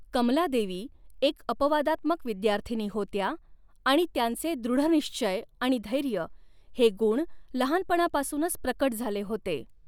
कमलादेवी एक अपवादात्मक विद्यार्थिनी होत्या आणि त्यांचे दृढनिश्चय आणि धैर्य हे गुण लहानपणापासूनच प्रकट झाले होते.